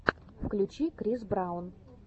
включи крис браун